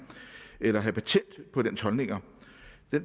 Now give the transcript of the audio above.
eller have patent på dens holdninger